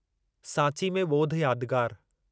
सांची में ॿोध यादगार